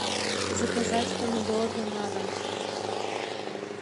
заказать помидоры на дом